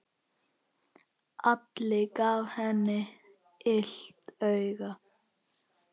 Alli gaf henni illt auga.